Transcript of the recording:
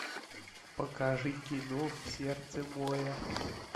покажи кино в сердце моря